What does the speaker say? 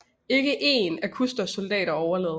Ikke én af Custers soldater overlevede